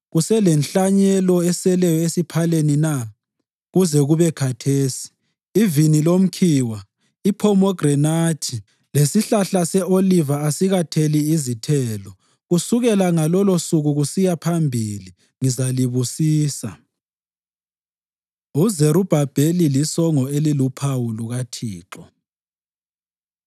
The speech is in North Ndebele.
Kuselenhlanyelo eseleyo esiphaleni na? Kuze kube khathesi, ivini lomkhiwa, iphomegranathi lesihlahla se-Oliva asikatheli izithelo. Kusukela ngalolusuku kusiya phambili ngizalibusisa.’ ” UZerubhabheli Lisongo Eliluphawu LukaThixo